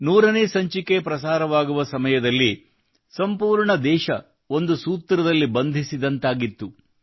100ನೇ ಸಂಚಿಕೆ ಪ್ರಸಾರವಾಗುವ ಸಮಯದಲ್ಲಿ ಸಂಪೂರ್ಣ ದೇಶ ಒಂದು ಸೂತ್ರದಲ್ಲಿ ಬಂಧಿಸಿದಂತಾಗಿತ್ತು